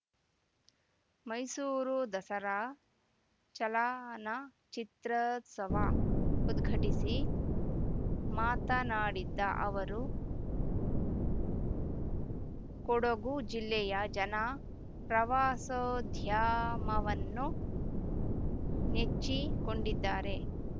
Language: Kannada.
ಮೈಸೂರು ದಸರಾ ಚಲನಚಿತ್ರೋತ್ಸವ ಉದ್ಘಾಟಿಸಿ ಮಾತನಾಡಿದ್ದ ಅವರು ಕೊಡಗು ಜಿಲ್ಲೆಯ ಜನ ಪ್ರವಾಸೋದ್ಯಮವನ್ನು ನೆಚ್ಚಿಕೊಂಡಿದ್ದಾರೆ